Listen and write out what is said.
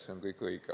See on kõik õige.